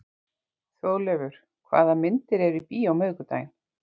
Þjóðleifur, hvaða myndir eru í bíó á miðvikudaginn?